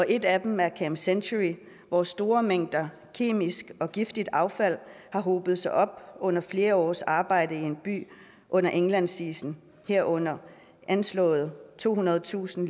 et af dem er camp century hvor store mængder kemisk og giftigt affald har hobet sig op under flere års arbejde i en by under indlandsisen herunder anslået tohundredetusind